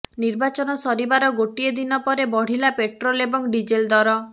ନିର୍ବାଚନ ସରିବାର ଗୋଟିଏ ଦିନପରେ ବଢ଼ିଲା ପେଟ୍ରୋଲ ଏବଂ ଡିଜେଲ ଦର